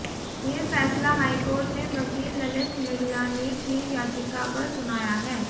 ये फैसला हाईकोर्ट ने वकील ललित मिगलानी की याचिका पर सुनाया है